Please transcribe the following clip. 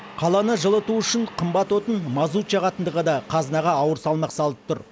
қаланы жылыту үшін қымбат отын мазут жағатындығы да қазынаға ауыр салмақ салып тұр